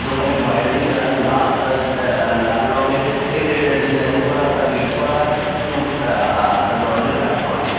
দোকানের বাইরের দিকটা লাল অ্যা অ্যা লাল রংয়ের এ এ এ ডিজাইন করা গেট করা আছে এবং আ আ আ দরজাটা কাঁচের।